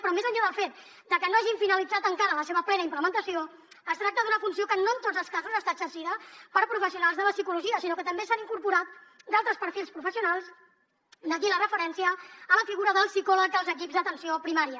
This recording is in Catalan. però més enllà del fet de que no hagin finalitzat encara la seva plena implementació es tracta d’una funció que no en tots els casos està exercida per professionals de la psicologia sinó que també s’hi han incorporat d’altres perfils professionals d’aquí la referència a la figura del psicòleg als equips d’atenció primària